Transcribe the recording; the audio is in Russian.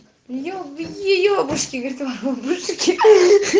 еб е ебушки говорит воробушки